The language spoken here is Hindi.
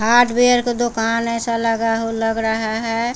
हार्डवेयर का दुकान ऐसा लगा लग रहा है।